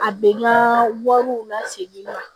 A bɛn ka wariw lasegin